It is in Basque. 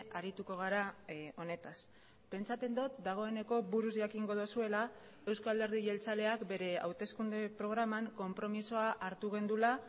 arituko gara honetaz pentsatzen dut dagoeneko buruz jakingo duzuela euzko alderdi jeltzaleak bere hauteskunde programan konpromisoa hartu genuela